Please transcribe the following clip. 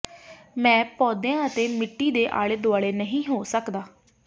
ਮੈਂ ਪੌਦਿਆਂ ਅਤੇ ਮਿੱਟੀ ਦੇ ਆਲੇ ਦੁਆਲੇ ਨਹੀਂ ਹੋ ਸਕਦਾ